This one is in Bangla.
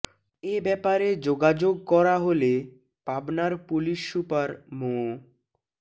এ ব্যাপারে যোগাযোগ করা হলে পাবনার পুলিশ সুপার মো